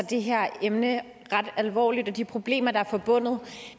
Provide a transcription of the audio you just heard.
det her emne ret alvorligt og de problemer der er forbundet